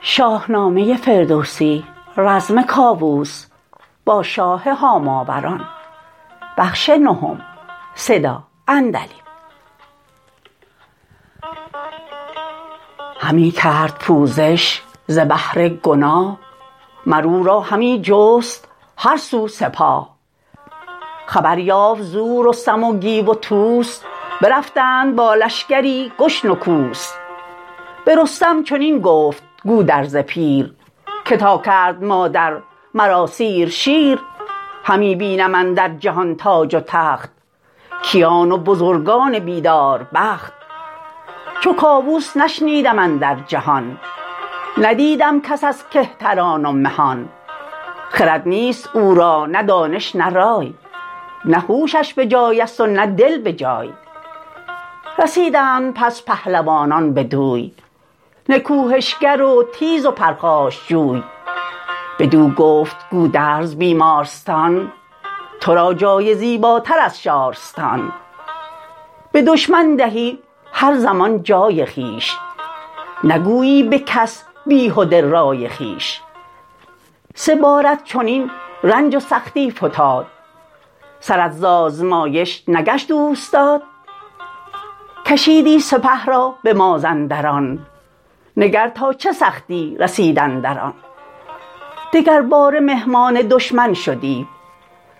همی کرد پوزش ز بهر گناه مر او را همی جست هر سو سپاه خبر یافت زو رستم و گیو و طوس برفتند با لشکری گشن و کوس به رستم چنین گفت گودرز پیر که تا کرد مادر مرا سیر شیر همی بینم اندر جهان تاج و تخت کیان و بزرگان بیدار بخت چو کاووس نشنیدم اندر جهان ندیدم کس از کهتران و مهان خرد نیست او را نه دانش نه رای نه هوشش بجایست و نه دل بجای رسیدند پس پهلوانان بدوی نکوهش گر و تیز و پرخاشجوی بدو گفت گودرز بیمارستان ترا جای زیباتر از شارستان به دشمن دهی هر زمان جای خویش نگویی به کس بیهده رای خویش سه بارت چنین رنج و سختی فتاد سرت ز آزمایش نگشت اوستاد کشیدی سپه را به مازندران نگر تا چه سختی رسید اندران دگرباره مهمان دشمن شدی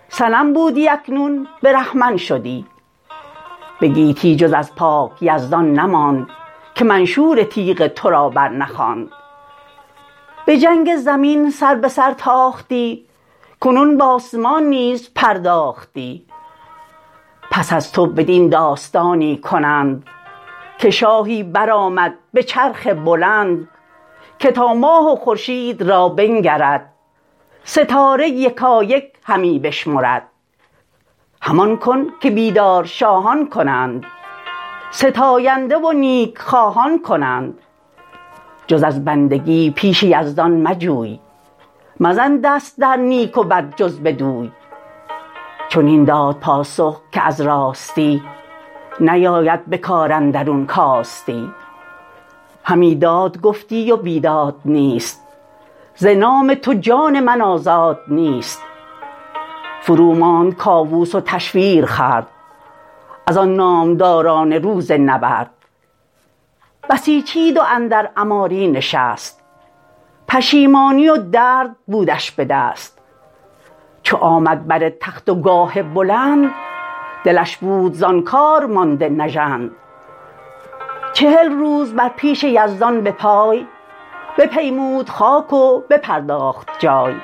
صنم بودی اکنون برهمن شدی به گیتی جز از پاک یزدان نماند که منشور تیغ ترا برنخواند به جنگ زمین سر به سر تاختی کنون باسمان نیز پرداختی پس از تو بدین داستانی کنند که شاهی برآمد به چرخ بلند که تا ماه و خورشید را بنگرد ستاره یکایک همی بشمرد همان کن که بیدار شاهان کنند ستاینده و نیک خواهان کنند جز از بندگی پیش یزدان مجوی مزن دست در نیک و بد جز بدوی چنین داد پاسخ که از راستی نیاید به کار اندرون کاستی همی داد گفتی و بیداد نیست ز نام تو جان من آزاد نیست فروماند کاووس و تشویر خورد ازان نامداران روز نبرد بسیچید و اندر عماری نشست پشیمانی و درد بودش بدست چو آمد بر تخت و گاه بلند دلش بود زان کار مانده نژند چهل روز بر پیش یزدان به پای بپیمود خاک و بپرداخت جای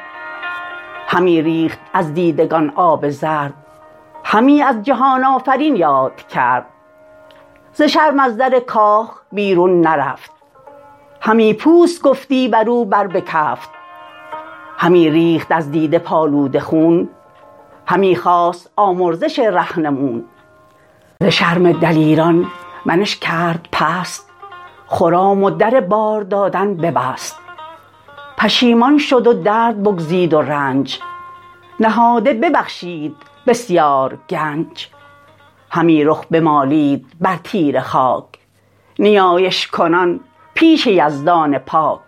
همی ریخت از دیدگان آب زرد همی از جهان آفرین یاد کرد ز شرم از در کاخ بیرون نرفت همی پوست گفتی برو بر به کفت همی ریخت از دیده پالوده خون همی خواست آمرزش رهنمون ز شرم دلیران منش کرد پست خرام و در بار دادن ببست پشیمان شد و درد بگزید و رنج نهاده ببخشید بسیار گنج همی رخ بمالید بر تیره خاک نیایش کنان پیش یزدان پاک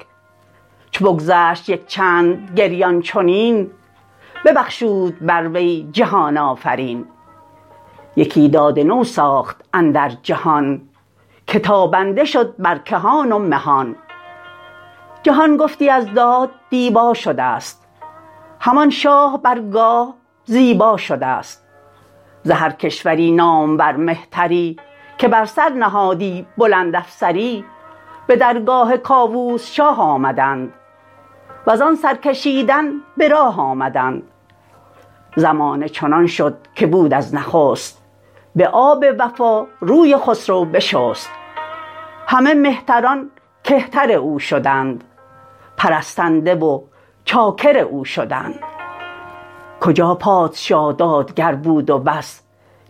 چو بگذشت یک چند گریان چنین ببخشود بر وی جهان آفرین یکی داد نو ساخت اندر جهان که تابنده شد بر کهان و مهان جهان گفتی از داد دیبا شدست همان شاه بر گاه زیبا شدست ز هر کشوری نامور مهتری که بر سر نهادی بلند افسری به درگاه کاووس شاه آمدند وزان سرکشیدن به راه آمدند زمانه چنان شد که بود از نخست به آب وفا روی خسرو بشست همه مهتران کهتر او شدند پرستنده و چاکر او شدند کجا پادشا دادگر بود و بس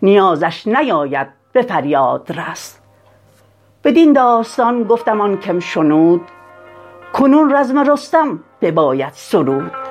نیازش نیاید بفریادرس بدین داستان گفتم آن کم شنود کنون رزم رستم بباید سرود